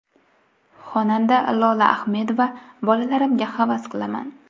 Xonanda Lola Ahmedova: Bolalarimga havas qilaman.